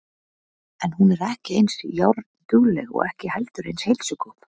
En hún er ekki eins járndugleg og ekki heldur eins heilsugóð.